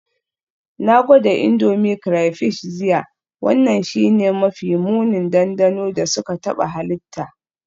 Na gwada Indomie crayfish jiya, wannan shine mafi munin dandano da suka taɓa halitta.